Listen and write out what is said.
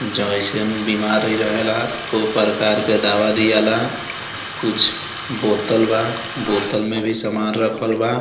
जइसन बीमारी रहेला उ प्रकार के दवा दियेला कुछ बोतल बा बोतल में भी सामान रखल बा।